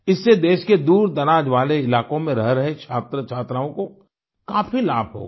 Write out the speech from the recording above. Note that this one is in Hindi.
इससे देश के दूरदराज वाले इलाकों में रह रहे छात्रछात्राओं को काफी लाभ होगा